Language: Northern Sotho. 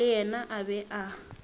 le yena a be a